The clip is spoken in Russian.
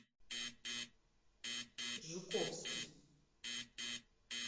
жуковский